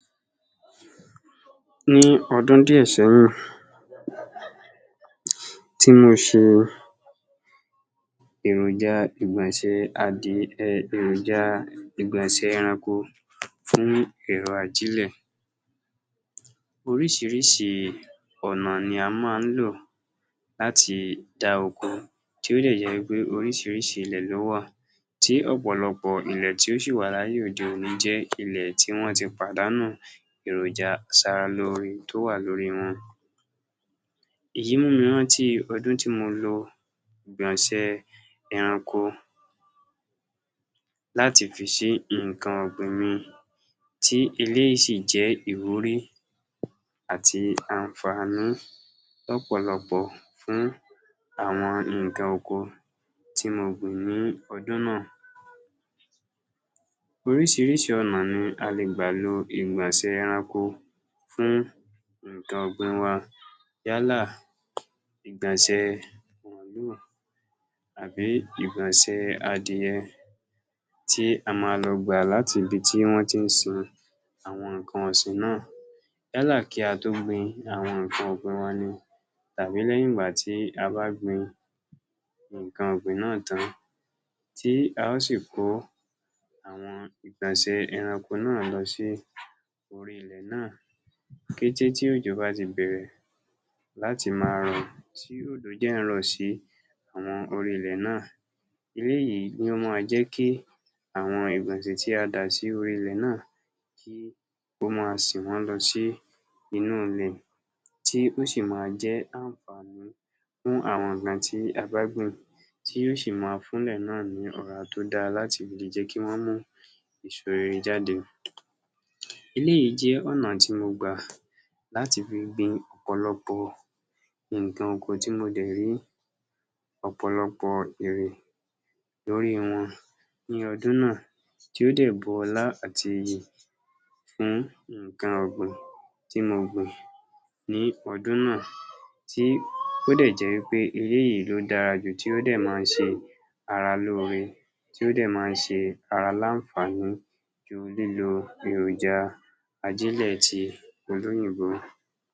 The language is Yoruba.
Ní ọdún díẹ̀ sẹ́yìn tí mo ṣe èròjà ìgbọ̀nsẹ̀ adí um èròjà ìgbọ̀nsẹ̀ ẹranko fún ìlo ajílẹ̀, oríṣiríṣi ọ̀nà ni a máa ń lò láti dá oko, tí ó dẹ̀ jẹ́ wípé oríṣiríṣi ilẹ̀ ló wà, tí ọ̀pọ̀lọpọ̀ ilẹ̀ tí ó sì wà láyé òde-òní jẹ́ ilẹ̀ tí wọ́n ti pàdánù èròjà aṣara lóore tó wà lórí wọn. Èyí mú mi rántí ọdún tí mo lo ìgbọ̀nsẹ̀ ẹranko láti fi sí nǹkan ọ̀gbìn, tí eléyii sì jẹ́ ìwúrí àti àǹfàní lọ́pọ̀lọpọ̀ fún àwọn nǹkan oko tí mo gbìn ní ọdún náà. Oríṣiríṣi ọ̀nà ni à lè gbà lo ìgbọ̀nsẹ̀ ẹranko fún nǹkan ọ̀gbìn wa, yálà ìgbọ̀nsẹ̀ màlúù, àbí ìgbọ̀nsẹ̀ adìẹ, tí a máa lọ gbà láti ibi tí wọ́n ti ń sin àwọn nǹkan ọ̀sìn náà, yálà kí a tó gbin àwọn nǹkan ọ̀gbìn wa tàbí lẹ́yìn ìgbà tí a bá gbin nǹkan náà tán, tí a ó sì kó àwọn ìgbọ̀nsẹ̀ ẹranko lọ sí orí ilẹ̀ náà. Kété tí òjò bá ti bẹ̀rẹ̀ láti máa rọ̀, tí òjò dẹ̀ ń rọ̀ sí orí ilẹ̀ náà, eléyìí ni ó máa jẹ́ kí àwọn ìgbọ̀nsẹ̀ tí a dà sórí ilẹ̀, kí ó máa sìn wọ́n lọ sí inú ilẹ̀, tó sì máa jẹ́ àǹfàní fún àwọn nǹkan tí a bá gbìn, tí ó sì máa fún ilẹ̀ náà ní ọ̀rá tó dára láti jẹ́ kí wọ́n mú èso rere jáde. Eléyìí jẹ́ ọ̀nà tí mo gbà láti fi gbin ọ̀pọ̀lọpọ̀ nǹkan oko, tí mo dẹ̀ rí ọ̀pọ̀lọpọ̀ èrè lórí wọn ní ọdún náà, tí ó dẹ̀ bu ọlá àti iyì fún nǹkan ọ̀gbìn tí mo gbìn ní ọdún náà, tí ó dẹ́ jẹ́ wípé eléyìí ló dára jù, tí ó dẹ̀ máa ṣe ara lóore, tí ó dẹ̀ máa ṣe ara láǹfàní ju lílo èròjà ajílẹ̀ ti olóyìnbó